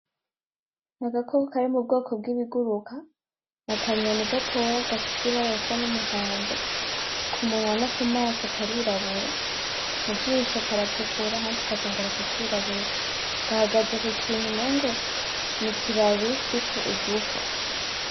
Ni agakoko kari mubwoko bw'ibiguruka n'akanyoni gatoyi gafise ibara risa n'umuhondo ku munwa no ku maso karirabura mu jisho karatukura ahandi kakongera kakirabura gahagaze ku kintu umengo n'ikibabi kiriko uduhwa.